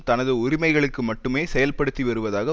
தனது உரிமைகளுக்கு மட்டுமே செயல்படுத்தி வருவதாக